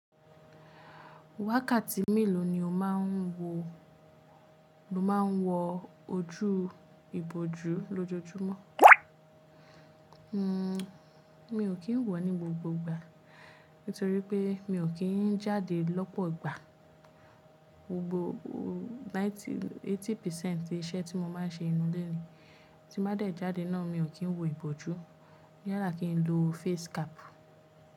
Wákàtí mélòó ni o máà ń wọ ojú ìbòjú lójoójúmọ́? Mi o kì í wọ̀ ní gbogbo ìgbà nitorípé mi o kì í jáde lọ́pọ̀ ìgbà. Gbogbo 90, 80% ìṣe tí mo máa ń ṣe inù ilé ni. Tí n ba dẹ̀ jáde náà mi o kì í wo ìbòjú, yala ki n lo face cap.